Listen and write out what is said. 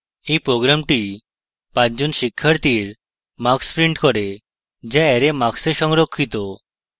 এই program 5 জন শিক্ষার্থীর marks prints করে যা অ্যারে marks এ সংরক্ষিত